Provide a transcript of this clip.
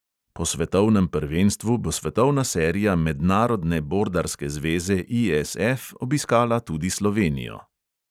Po svetovnem prvenstvu bo svetovna serija mednarodne bordarske zveze ISF obiskala tudi slovenijo.